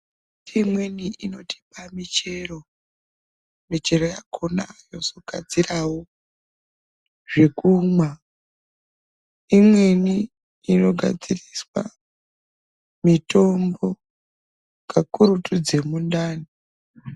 Miti imweni inotipa michero ,michero yakona yozogadzirawo zvekumwa imweni inogadziriswa mitombo kakurutu dzemundani.